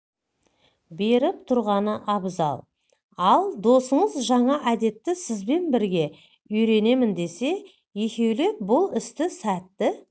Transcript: беріп тұрғаны абзал ал досыңыз жаңа әдетті сізбен бірге үйренемін десе екеулеп бұл істі сәтті